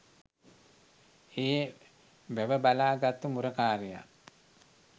ඒ වැව බලා ගත්තු මුරකාරයා